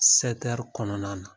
kɔnɔna na